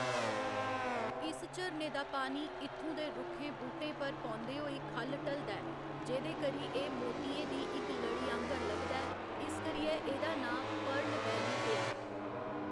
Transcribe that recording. इस झरने दा पानी इत्थूं दे रुक्खें बूह्‌‌टे पर पौंदे होई ख'ल्ल ढलदा ऐ, जेह्‌‌‌दे करी एह्‌‌ मोतियें दी इक लड़ी आंह्‌गर लभदा ऐ, इस करियै एह्‌‌‌दा नांऽ पर्ल वैली पेआ।